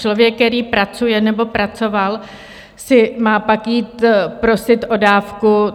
Člověk, který pracuje nebo pracoval, si má pak jít prosit o dávku.